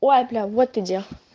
ой бля вот ты где